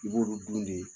I b'olu dun de